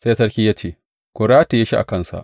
Sai sarki ya ce, Ku rataye shi a kansa!